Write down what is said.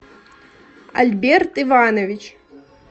альберт иванович